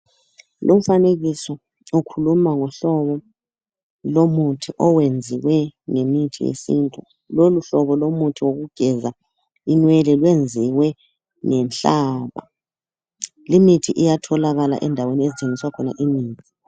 Lomfanekiso ukhuluma ngohlobo lomuthi owenziwe ngemithi yesintu. Lolu hlobo lomuthi wokugeza imwene lwenziwe ngenhlaka. Limithi iyatholakala endaweni ezithengiswa khona imithi.